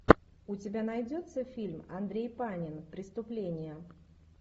у тебя найдется фильм андрей панин преступление